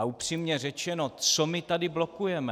A upřímně řečeno, co my tady blokujeme?